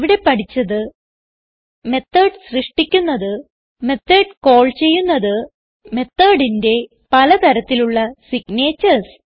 ഇവിടെ പഠിച്ചത് മെത്തോട് സൃഷ്ടിക്കുന്നത് മെത്തോട് കാൾ ചെയ്യുന്നത് methodsന്റെ പല തരത്തിലുള്ള സിഗ്നേച്ചർസ്